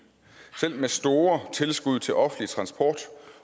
selv med store tilskud til offentlig transport